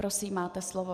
Prosím, máte slovo.